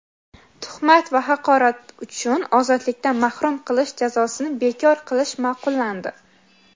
Tuhmat va haqorat uchun ozodlikdan mahrum qilish jazosini bekor qilish ma’qullandi.